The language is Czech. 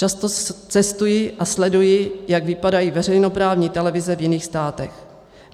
Často cestuji a sleduji, jak vypadají veřejnoprávní televize v jiných státech.